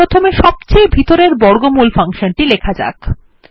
তাহলে প্রথমে সবচেয়ে ভিতরের বর্গমূল ফাংশন টি লেখা যাক